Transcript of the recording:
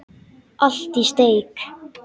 Allt í steik.